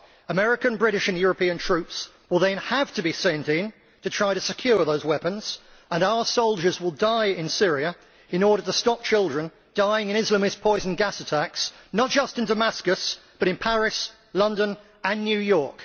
American, British and European troops will then have to be sent in to try and secure those weapons, and our soldiers will die in Syria in order to stop children dying in Islamist poison gas attacks, not just in Damascus but in Paris, London and New York.